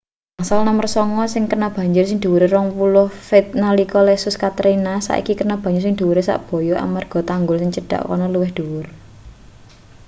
bangsal nomer sanga sing kena banjir sing dhuwure 20 feet nalika lesus katrina saiki kena banyu sing dhuwure sak-boyok amarga tanggul sing cedhak kono luwih dhuwur